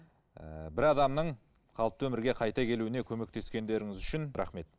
ыыы бір адамның қалыпты өмірге қайта келуіне көмектескендеріңіз үшін рахмет